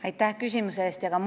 Aitäh küsimuse eest!